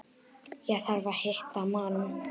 Ég þarf að hitta mann.